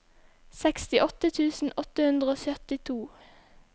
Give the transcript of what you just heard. sekstiåtte tusen åtte hundre og syttito